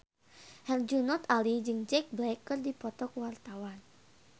Herjunot Ali jeung Jack Black keur dipoto ku wartawan